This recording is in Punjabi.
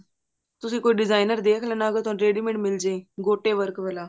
ਤੁਸੀਂ ਕੋਈ designer ਦੇਖ ਲੈਣਾ ਕੋਈ ready made ਮਿਲਜੇ ਗੋਟੇ work ਵਾਲਾ